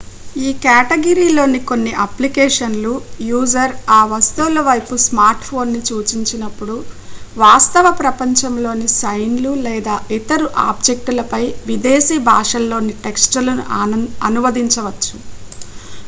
ఈ కేటగిరీలోని కొన్ని అప్లికేషన్ లు యూజర్ ఆ వస్తువుల వైపు స్మార్ట్ ఫోన్ ని సూచించినప్పుడు వాస్తవ ప్రపంచంలో ని సైన్ లు లేదా ఇతర ఆబ్జెక్టులపై విదేశీ భాషల్లోని టెక్ట్స్ లను అనువదించవచ్చు